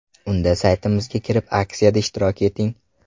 Unda saytimizga kirib aksiyada ishtirok eting!